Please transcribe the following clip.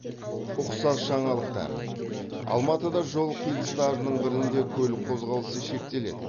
ұқсас жаңалықтар алматыда жол қиылыстарының бірінде көлік қозғалысы шектеледі